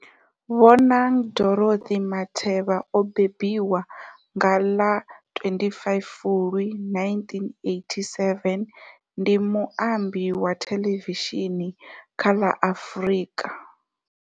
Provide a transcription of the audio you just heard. Bonang Dorothy Matheba o mbembiwa nga ḽa 25 Fulwi 1987, ndi muambi wa thelevishini kha la Afrika.